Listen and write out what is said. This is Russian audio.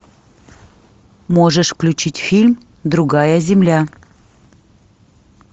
можешь включить фильм другая земля